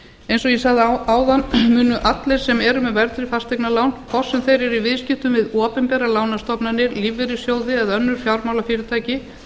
eins og ég sagði áðan munu allir sem eru með verðtryggð fasteignalán hvort sem þeir eru í viðskiptum við opinberar lánastofnanir lífeyrissjóði eða önnur fjármálafyrirtæki